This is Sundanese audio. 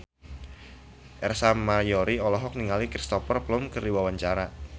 Ersa Mayori olohok ningali Cristhoper Plumer keur diwawancara